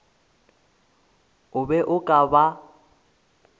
o be o ka ba